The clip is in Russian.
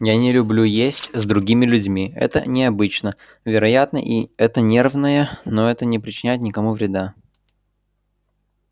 я не люблю есть с другими людьми это необычно вероятно это нервное но это не причиняет никому вреда